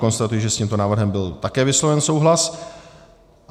Konstatuji, že s tímto návrhem byl také vysloven souhlas.